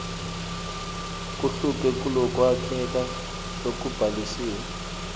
kuhluke kulokwakheka lokubhalisiwe